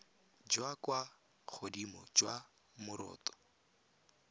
jwa kwa godimo jwa moroto